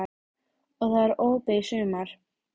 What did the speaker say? Og það er opið í sumar?